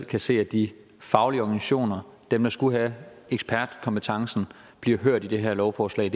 kan se at de faglige organisationer dem der skulle have ekspertkompetencen bliver hørt i det her lovforslag